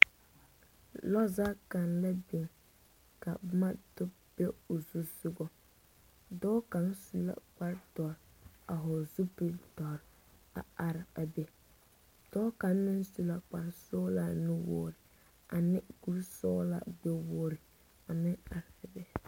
Lɔzag kaŋ la biŋ ka boma do be o zu soga dɔɔ kaŋ su la kpardɔr a hɔgle zupildɔre a are a be dɔɔ kaŋ meŋ su la kparsɔglaa nuwogri ne kurisɔglaa gbɛwogri a meŋ are a be.